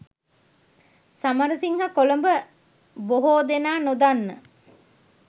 සමරසිංහ කොළඹ බොහෝ දෙනා නොදන්න